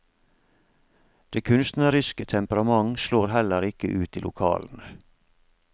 Det kunstneriske temperament slår heller ikke ut i lokalene.